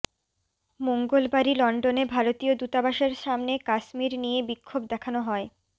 মঙ্গলবারই লন্ডনে ভারতীয় দূতাবাসের সামনে কাশ্মীর নিয়ে বিক্ষোভ দেখানো হয়